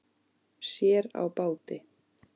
Sér á báti.